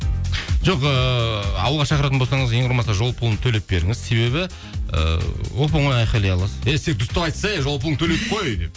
жоқ ыыы ауылға шақыратын болсаңыз ең құрымаса жол пұлын төлеп беріңіз себебі і оп оңай айқайлай аласыз әй сен дұрыстап айтсай ей жол пұлыңды төледік қой деп